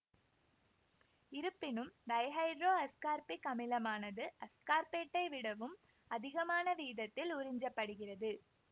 இருப்பினும் டைஹைட்ரோஅஸ்கார்பிக் அமிலமானது அஸ்கார்பேட்டை விடவும் அதிகமான வீதத்தில் உறிஞ்சப்படுகிறது